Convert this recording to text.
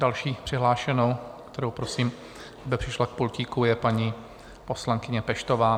Další přihlášenou, kterou prosím, aby přišla k pultíku, je paní poslankyně Peštová.